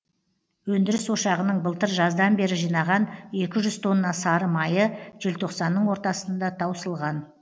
өндіріс ошағының былтыр жаздан бері жинаған екі жүз тонна сары майы желтоқсанның ортасында таусылған